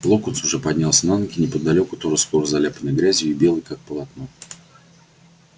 локонс уже поднялся на ноги неподалёку тоже сплошь заляпанный грязью и белый как полотно